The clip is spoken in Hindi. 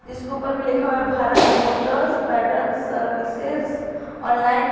इसके ऊपर में लिखा हुआ Bharat motors pattern services online --